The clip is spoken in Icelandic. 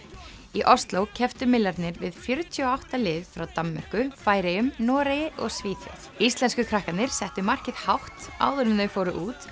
í Osló kepptu við fjörutíu og átta lið frá Danmörku Færeyjum Noregi og Svíþjóð íslensku krakkarnir settu markið hátt áður en þau fóru út